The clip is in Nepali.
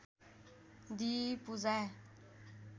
दिई पूजा